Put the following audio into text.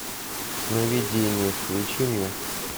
сновидения включи мне